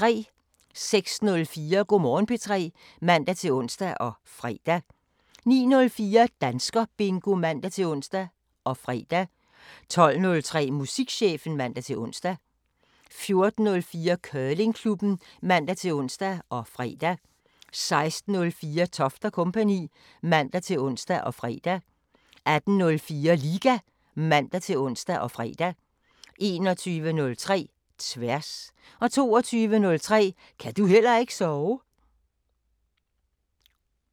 06:04: Go' Morgen P3 (man-ons og fre) 09:04: Danskerbingo (man-ons og fre) 12:03: Musikchefen (man-ons) 14:04: Curlingklubben (man-ons og fre) 16:04: Toft & Co. (man-ons og fre) 18:04: Liga (man-ons og fre) 21:03: Tværs 22:03: Ka' du heller ikke sove?